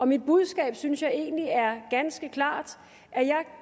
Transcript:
mit budskab synes jeg egentlig er ganske klart jeg